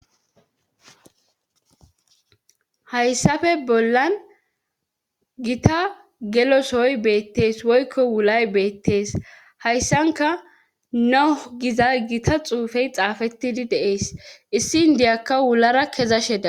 Hayssafe bollan gita gelosoy beettees woykko wulay beettees hayssanka nohu giza gita xuufey xaafettidi deees issi indiyakka wulara kezasheda.